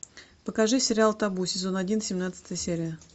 покажи сериал табу сезон один семнадцатая серия